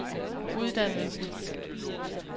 uddannelsen